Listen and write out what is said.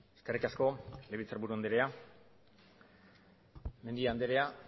eskerrik asko legebiltzarburu andrea mendia andrea